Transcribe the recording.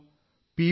നാം പി